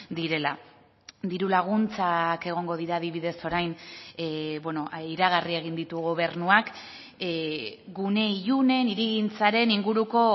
direla diru laguntzak egongo dira adibidez orain iragarri egin ditu gobernuak gune ilunen hirigintzaren inguruko